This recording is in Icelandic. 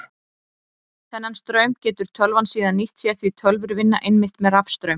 Þennan straum getur tölvan síðan nýtt sér því tölvur vinna einmitt með rafstraum.